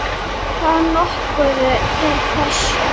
Það nokkuð til í þessu.